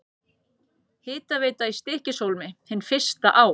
Hitaveita í Stykkishólmi, hin fyrsta á